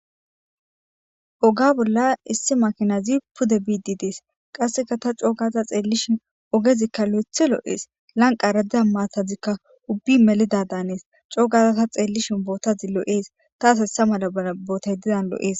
Oga bolla issi makinazi pude bidi des qaseka ta co'u gada xeelishin ogezika lo'othi lo'es lanqara de'iza mattazika ubbay melida danes cogada ta xeelishin bottazi lo'es tasi iza mala botay diza lo'es.